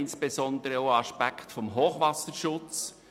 Insbesondere denken wir auch an den Hochwasserschutz.